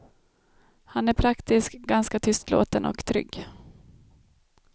Han är praktisk, ganska tystlåten och trygg.